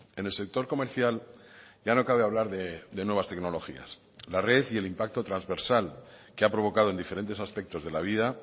en el sector comercial ya no cabe hablar de nuevas tecnologías la red y el impacto transversal que ha provocado en diferentes aspectos de la vida